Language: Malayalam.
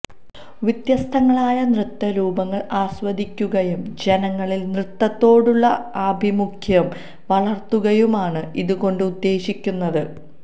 വ്യത്യസ്തങ്ങളായ നൃത്തരൂപങ്ങള് ആസ്വദിക്കുകയും ജനങ്ങളില് നൃത്തത്തോടുള്ള ആഭിമുഖ്യം വളര്ത്തുകയുമാണ് ഇതു കൊണ്ട് ഉദ്ദേശിക്കുന്നത്